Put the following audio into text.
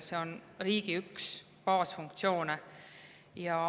See on riigi üks baasfunktsioone.